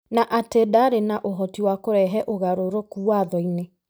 na atĩ ndarĩ na ũhoti wa kũrehe ũgarũrũku Watho-inĩ.